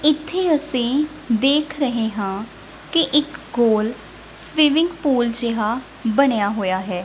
ਇੱਥੇ ਅਸੀਂ ਦੇਖ ਰਹੇ ਹਾਂ ਕਿ ਇੱਕ ਗੋਲ ਸਵਿਮਿੰਗ ਪੂਲ ਜਿਹਾ ਬਣਿਆ ਹੋਇਆ ਹੈ।